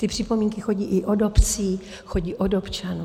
Ty připomínky chodí i od obcí, chodí od občanů.